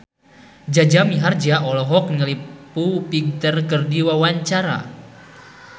Jaja Mihardja olohok ningali Foo Fighter keur diwawancara